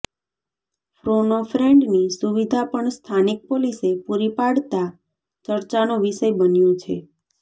ફોનો ફ્રેન્ડની સુવિધા પણ સ્થાનિક પોલીસે પુરી પાડતાં ચર્ચાનો વિષય બન્યો છે